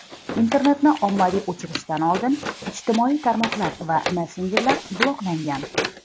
Internetni ommaviy o‘chirishdan oldin ijtimoiy tarmoqlar va messenjerlar bloklangan.